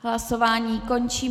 Hlasování končím.